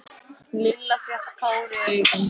Lilla fékk tár í augun.